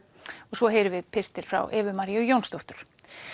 svo heyrum við pistil frá Evu Maríu Jónsdóttur